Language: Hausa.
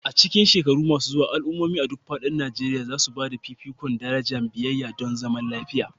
A cikin shekaru masu zuwa, al'ummomi a duk faɗin Najeriya za su ba da fifikon daraja biyayya don zaman lafiya.